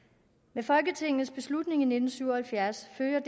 med folketingets beslutning i nitten syv og halvfjerds følger